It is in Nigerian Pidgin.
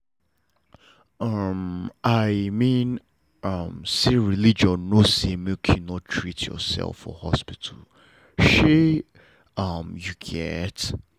um i mean um say religion no say make you no treat yourself for hospital shey um you get?